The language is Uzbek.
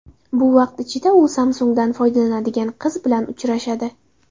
Bu vaqt ichida u Samsung‘dan foydalanadigan qiz bilan uchrashadi.